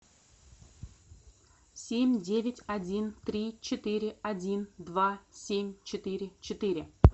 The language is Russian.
семь девять один три четыре один два семь четыре четыре